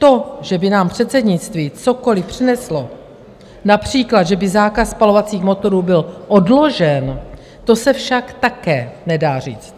To, že by nám předsednictví cokoliv přineslo, například že by zákaz spalovacích motorů byl odložen, to se však také nedá říct.